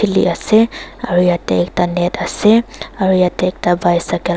kili ase aro yete ekta net ase aro yete ekta bicycle .